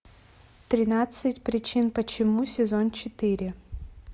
тринадцать причин почему сезон четыре